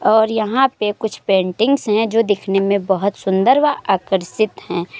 और यहाँ पर कुछ पेंटिंग्स हैं जो दिखने में बोहोत सुंदर व आकर्षित हैं।